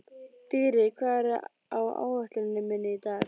Dýri, hvað er á áætluninni minni í dag?